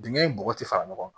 Dingɛ in bɔgɔti fara ɲɔgɔn kan